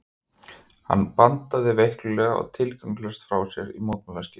Hann bandaði veiklulega og tilgangslaust frá sér í mótmælaskyni.